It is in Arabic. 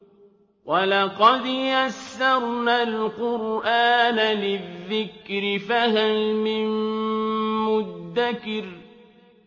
وَلَقَدْ يَسَّرْنَا الْقُرْآنَ لِلذِّكْرِ فَهَلْ مِن مُّدَّكِرٍ